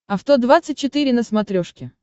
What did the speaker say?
авто двадцать четыре на смотрешке